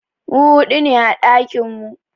Mu hudu ne a ɗakinmu.